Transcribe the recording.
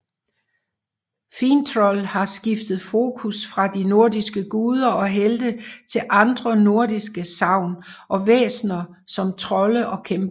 Finntroll har skiftet fokus fra de nordiske guder og helte til andre nordiske sagn og væsner som trolde og kæmper